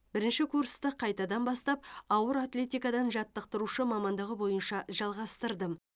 бірінші курсты қайтадан бастап ауыр атлетикадан жаттықтырушы мамандығы бойынша жалғастырдым